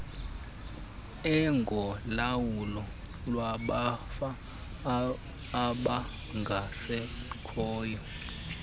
engolawulo lwamafa abangasekhoyo